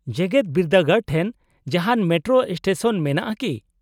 -ᱡᱮᱜᱮᱫ ᱵᱤᱨᱫᱟᱹᱜᱟᱲ ᱴᱷᱮᱱ ᱡᱟᱦᱟᱱ ᱢᱮᱴᱨᱳ ᱥᱴᱮᱥᱚᱱ ᱢᱮᱱᱟᱜᱼᱟ ᱠᱤ ?